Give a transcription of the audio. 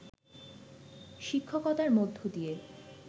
শিক্ষকতার মধ্য দিয়ে